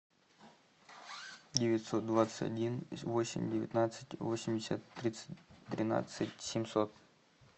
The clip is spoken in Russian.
девятьсот двадцать один восемь девятнадцать восемьдесят тридцать тринадцать семьсот